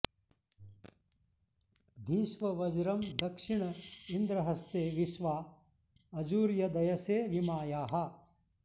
धिष्व वज्रं दक्षिण इन्द्र हस्ते विश्वा अजुर्य दयसे वि मायाः